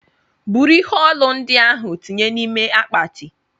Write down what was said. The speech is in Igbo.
buru ihe ọlụ ndiahu tinye na ime akpati!!